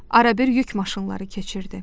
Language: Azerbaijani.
Arabir yük maşınları keçirdi.